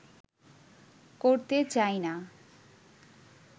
করতে চাই না